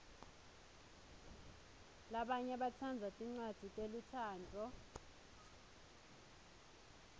labanye batsandza tincwadzi telutsandvo